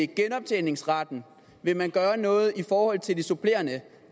genoptjeningsretten vil man gøre noget i forhold til de supplerende